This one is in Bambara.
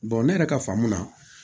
ne yɛrɛ ka faamu na